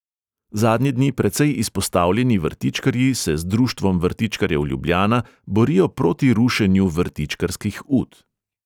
Zadnje dni precej izpostavljeni vrtičkarji se z društvom vrtičkarjev ljubljana borijo proti rušenju vrtičkarskih ut.